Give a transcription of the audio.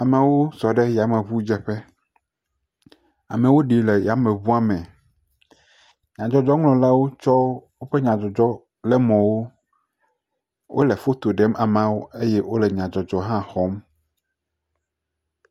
Amewo sɔ ɖe yameŋudzeƒe. Amewo ɖi le yameŋua me. Nyadzɔdzɔŋlɔlawo tsɔ woƒe nyadzɔdzɔlemɔwo wole foto ɖem ameawo eye wole nyadzɔdzɔ hã xɔm.